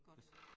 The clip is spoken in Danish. Godt